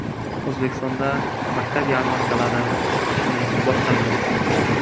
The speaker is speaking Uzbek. O‘zbekistonda maktab yarmarkalari o‘z ishini boshladi.